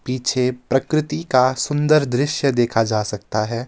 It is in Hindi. पीछे प्रकृति का सुंदर दृश्य देखा जा सकता है.